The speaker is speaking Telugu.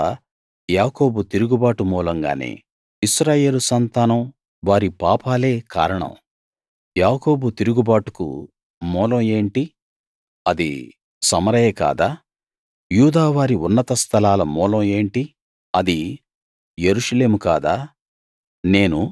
ఇదంతా యాకోబు తిరుగుబాటు మూలంగానే ఇశ్రాయేలు సంతానం వారి పాపాలే కారణం యాకోబు తిరుగుబాటుకు మూలం ఏంటి అది సమరయ కాదా యూదావారి ఉన్నత స్థలాల మూలం ఏంటి అది యెరూషలేము కాదా